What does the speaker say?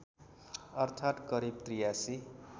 अर्थात् करिब ८३